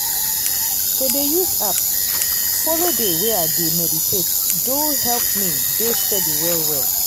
to dey use app follow dey way i dey meditate do help me dey steady well well.